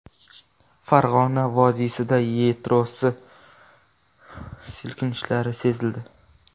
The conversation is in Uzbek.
Farg‘ona vodiysida yerosti silkinishlari sezildi.